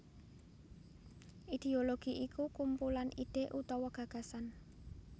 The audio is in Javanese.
Idéologi iku kumpulan ide utawa gagasan